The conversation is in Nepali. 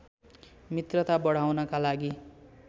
मित्रता बढाउनका लागि